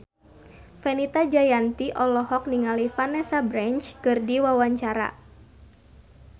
Fenita Jayanti olohok ningali Vanessa Branch keur diwawancara